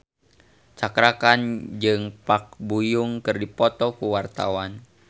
Cakra Khan jeung Park Bo Yung keur dipoto ku wartawan